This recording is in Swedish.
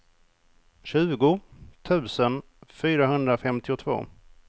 tjugo tusen fyrahundrafemtiotvå